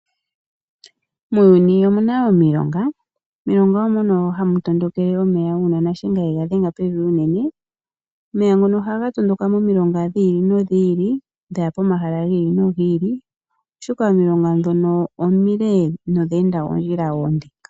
Muuyuni omuna omilonga, omilonga omo mono hamu tondokele omeya uuna Nashenga shaNangombe yega dhenga pevi noonkondo . Omeya ngono haga tondoka momilonga dhili nodhili dhaya pomahala giili nogili, oshoka omilonga ndhono omile nodhe endangered oondhila oonde.